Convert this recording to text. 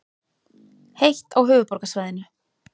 Heitt á höfuðborgarsvæðinu